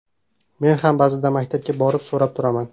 Men ham ba’zida maktabga borib so‘rab turaman.